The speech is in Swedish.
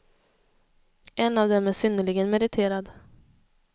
En av dem är synnerligen meriterad.